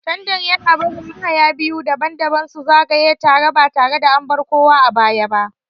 Tandem yana barin mahaya biyu daban-daban su zagaya tare ba tare da an bar kowa a baya ba.